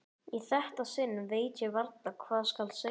Í þetta sinn veit ég varla hvað skal segja.